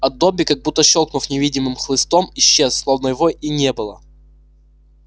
а добби как будто щёлкнув невидимым хлыстом исчез словно его и не было